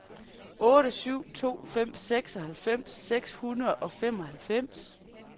otte syv to fem seksoghalvfems seks hundrede og femoghalvfems